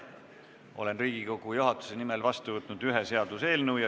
Olen Riigikogu juhatuse nimel võtnud vastu ühe seaduseelnõu.